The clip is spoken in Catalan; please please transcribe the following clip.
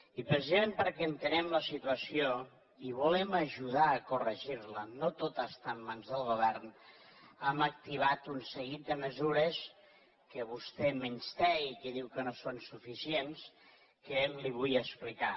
i precisament perquè entenem la situació i volem ajudar a corregir la no tot està en mans del govern hem activat un seguit de mesures que vostè menysté i que diu que no són suficients que li vull explicar